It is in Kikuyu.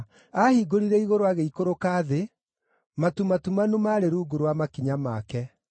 Aahingũrire igũrũ agĩikũrũka thĩ; matu matumanu maarĩ rungu rwa makinya make.